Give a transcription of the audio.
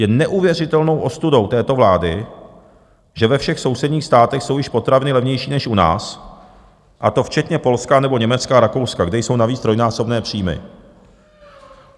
Je neuvěřitelnou ostudou této vlády, že ve všech sousedních státech jsou již potraviny levnější než u nás, a to včetně Polska nebo Německa a Rakouska, kde jsou navíc trojnásobné příjmy.